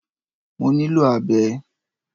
Mo ní lò abẹ